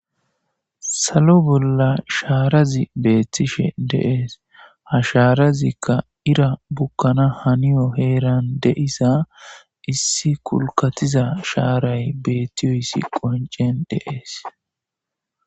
Salo bolla shaarazi beettishe deees ha shaarazikka ira bukkana haniyo heeran deisa issi kulkatiza shaaray beettiyoyssi qoncen deees.